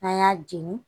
N'an y'a jeni